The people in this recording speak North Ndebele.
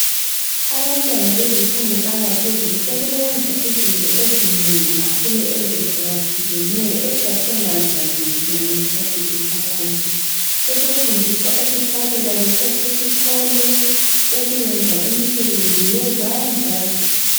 Abantwana bezifundo zangaphezulu sebeyenza izinto ezinengi kakhulu ezahlukehlukeneyo esasingazazi thina thina ngesikhathi sisakhula. Sebefundiswa ukuhlabela besasesikolo, ukuyenza imisebenzi yezandla.